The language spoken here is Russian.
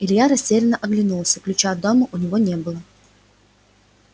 илья растерянно оглянулся ключа от дома у него не было